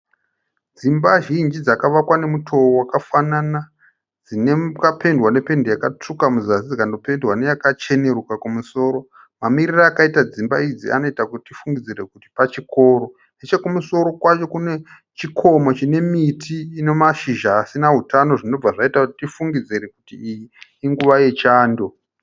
Dzimba zhinji dzakavakwa nemutoo wakafanana dzakapendiwa nependi yakatsvuka kuzasi dzikanopendiwa neyakacheneruka kumusoro mamiriro akaita dzimba idzi anoita kuti tifungidzire kuti pachikoro, nechekumusoro kwacho kune chikomo chine miti ine mashizha asina hutano zvinobva zvaita kuti tifungidzire kuti iyi inguva yechando.